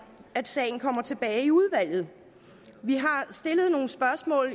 at sagen kommer tilbage i udvalget vi har stillet nogle spørgsmål